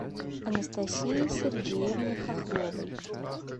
анастасии сергеевне хохловой